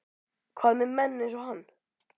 Hvað með menn eins og hann?